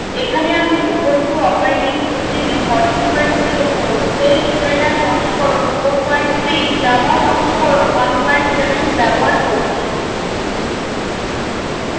এখানে আমি ubuntu operating system 1404 celldesigner সংস্করণ 43 java সংস্করণ 17 ব্যবহার করছি